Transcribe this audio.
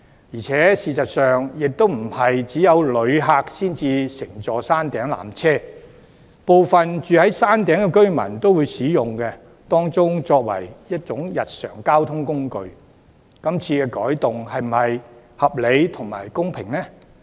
然而，事實上並非只有旅客才會乘坐山頂纜車，部分居於山頂的居民亦會將纜車當作日常交通工具使用，這次改動是否公平合理呢？